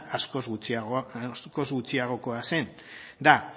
askoz gutxiagokoa da